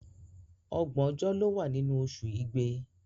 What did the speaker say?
Ọgbọ̀n ọjọ́ ló wà nínú oṣù Igbe.